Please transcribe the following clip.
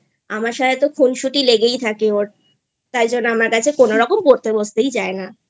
আমার সাথে তো খুনসুটি লেগেই থাকে ওর তাই জন্য আমার কাছে কোনোরকম পড়তে বসতেই যায় নাI